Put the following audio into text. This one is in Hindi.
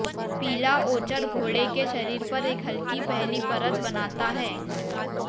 पीला ओचर घोड़े के शरीर पर एक हल्की पहली परत बनाता है